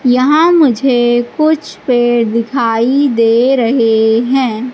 यहां मुझे कुछ पेड़ दिखाई दे रहे हैं।